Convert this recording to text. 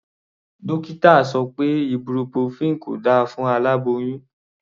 Dókítà sọ pé ibuprofen kò da fún aláboyún.